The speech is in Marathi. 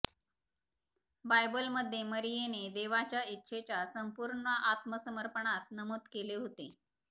बायबलमध्ये मरीयेने देवाच्या इच्छेच्या संपूर्ण आत्मसमर्पणात नमूद केले होते